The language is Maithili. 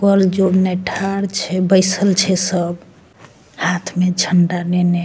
कल जो नैठार छे बैसल छे सब हाथ में झंडा नेने।